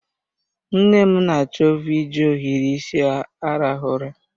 Nne m na achovu iji ohiri isi arahụ ụra.